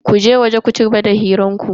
Ku je waje ku cigaba da hirar ku.